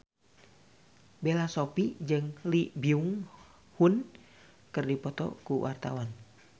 Bella Shofie jeung Lee Byung Hun keur dipoto ku wartawan